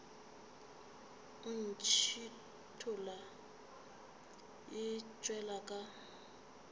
e ntšhithola e tšwela ka